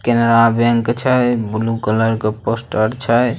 Canara bank छे blue colour के poster छे।